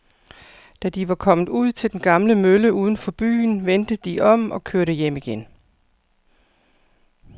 Da de var kommet ud til den gamle mølle uden for byen, vendte de om og kørte hjem igen.